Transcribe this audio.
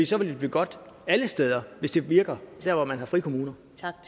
så ville det blive godt alle steder hvis det virker der hvor man har frikommuner